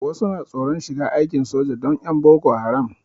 Wasu na tsoron shiga aikin soja dan 'yan boko haram.